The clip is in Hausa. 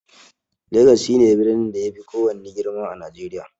Legas shi ne birnin da ya fi kowanne girma a najeriya